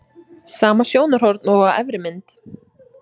Sama sjónarhorn og á efri mynd.